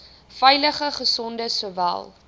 veilige gesonde sowel